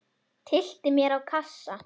Tyllti mér á kassa.